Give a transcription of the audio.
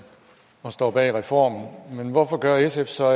og står bag reformen men hvorfor gør sf så